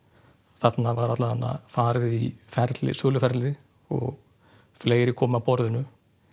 þarna var farið í söluferli söluferli og fleiri komu að borðinu